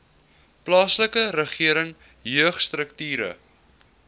plaaslike regering jeugstrukture